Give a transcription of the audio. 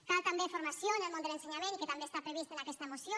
cal també formació en el món de l’ensenyament i que també està previst en aquesta moció